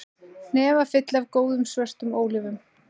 Hnefafylli af góðum, svörtum ólífum